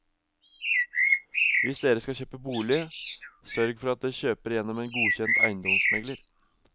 Hvis dere skal kjøpe bolig, sørg for at dere kjøper gjennom en godkjent eiendomsmegler.